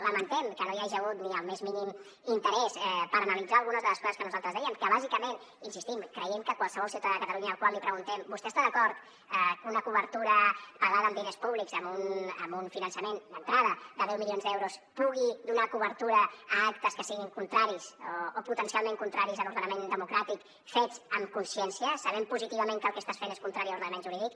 lamentem que no hi hagi hagut ni el més mínim interès per analitzar algunes de les coses que nosaltres dèiem que bàsicament hi insistim creiem que qualsevol ciutadà de catalunya al qual li preguntem vostè està d’acord que una cobertura pagada amb diners públics amb un finançament d’entrada de deu milions d’euros pugui donar cobertura a actes que siguin contraris o potencialment contraris a l’ordenament democràtic fets amb consciència sabent positivament que el que estàs fent és contrari a l’ordenament jurídic